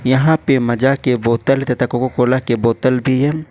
यहां पे माजा के बोतल तथा कोका कोला के बोतल भी है।